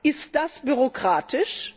Ist das bürokratisch?